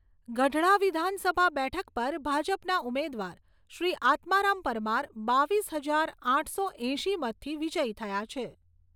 ગઢડા વિધાનસભા બેઠક પર ભાજપના ઉમેદવાર શ્રી આત્મારામ પરમાર બાવીસ હજાર આઠસો એંશી મતથી વિજય થયા છે.